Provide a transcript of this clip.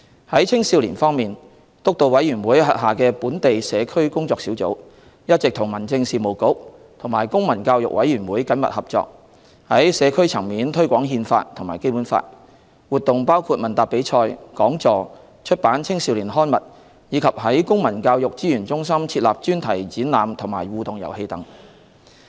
在青少年方面，督導委員會轄下的本地社區工作小組，一直與民政事務局及公民教育委員會緊密合作，在社區層面推廣《憲法》和《基本法》，活動包括問答比賽、講座、出版青少年刊物，以及在公民教育資源中心設立專題展覽及互動遊戲等。